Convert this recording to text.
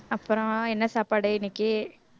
அப்புறம் என்ன சாப்பாடு இன்னைக்கு